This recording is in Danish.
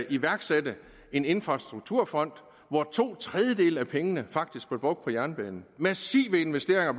iværksatte infrastrukturfonden hvor to tredjedele af pengene faktisk blev brugt på jernbanen massive investeringer